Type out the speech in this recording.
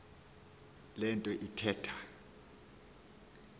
le nto ithetha